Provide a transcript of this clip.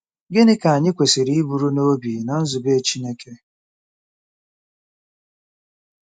Gịnị ka anyị kwesịrị iburu n'obi na nzube Chineke?